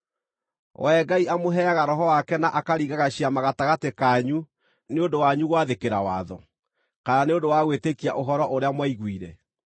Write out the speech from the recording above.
Wee Ngai amũheaga Roho wake na akaringaga ciama gatagatĩ kanyu nĩ ũndũ wanyu gwathĩkĩra watho, kana nĩ ũndũ wa gwĩtĩkia ũhoro ũrĩa mwaiguire?